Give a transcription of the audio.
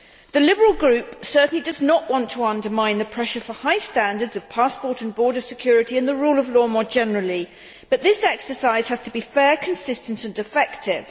The Liberal Group certainly does not want to undermine the pressure for high standards of passport and border security and the rule of law more generally, but this exercise has to be fair, consistent and effective.